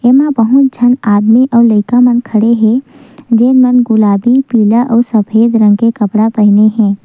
एंमा बहुत झन आदमी और लइका मन खड़े हे जेमन गुलाबी पीला और सफ़ेद रंग के कपडा पहने हे।